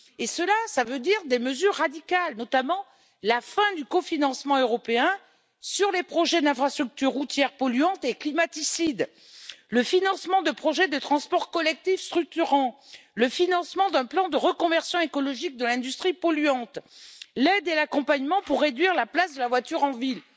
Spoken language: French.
Cela implique des mesures radicales, notamment la fin du cofinancement européen sur les projets d'infrastructures routières polluantes et climaticides, le financement de projets de transport collectif structurant, le financement d'un plan de reconversion écologique de l'industrie polluante, l'aide et l'accompagnement pour réduire la place de la voiture en ville.